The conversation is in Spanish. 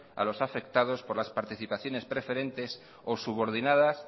a los afectados por las participaciones preferentes o subordinadas